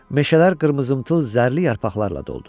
Meşələr qızılımtıl zərli yarpaqlarla doldu.